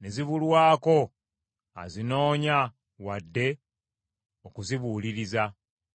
ne zibulwako azinoonya wadde okuzibuuliriza.